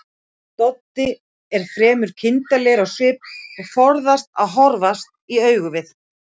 Doddi er fremur kindarlegur á svip og forðast að horfast í augu við